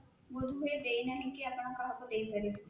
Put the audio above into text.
ବୋଧ ହୁଏ ଦେଇନାହିଁ ଆପଣ କାହାକୁ ଦେଇପାରିବେ